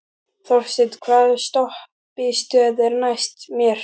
Þorsteina, hvaða stoppistöð er næst mér?